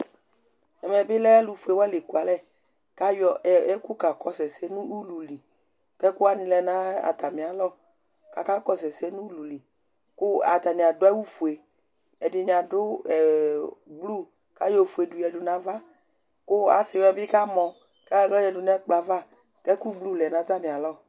ɛmɛ bilɛ alʋ ƒʋɛ wani la ɛkʋalɛ kʋ ayɔ ɛkʋkakɔsʋ ɛsɛ nʋ ʋlʋli kʋ ɛkʋ wanilɛnʋ atami alɔ kʋ aka kɔsʋ ɛsɛ nʋ ʋlʋli kʋ atani adʋawʋ ƒʋɛ, ɛdiniadʋblue kʋ ayɔ ɔƒʋɛ dʋ yadʋ nʋ aɣa kʋ asii wani bi kamɔ kʋ ayɔ ala yɔ yɛdʋ nʋ ɛkplɔɛ aɣa kʋ ɛkʋ blue lɛnʋ atami alɔ